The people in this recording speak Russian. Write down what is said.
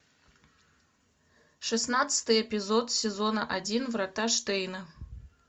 шестнадцатый эпизод сезона один врата штейна